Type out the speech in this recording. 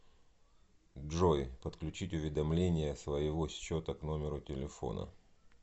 джой подключить уведомления своего счета к номеру телефона